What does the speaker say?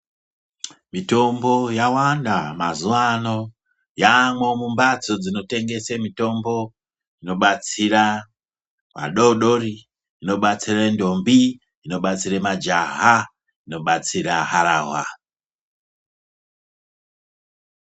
Mitombo yawanda mazuwa ano. Yaamwo mumbatso dzinotengese mitombo inobatsira vadoodori inobatsire ndombi, inobatsire majaha, inobatsire harahwa.